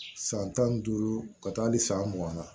San tan ni duuru ka taa ni san mugan na